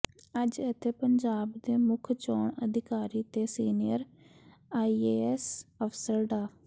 ਅੱਜ ਇਥੇ ਪੰਜਾਬ ਦੇ ਮੁੱਖ ਚੋਣ ਅਧਿਕਾਰੀ ਤੇ ਸੀਨੀਅਰ ਆਈਏਐਸ ਅਫ਼ਸਰ ਡਾ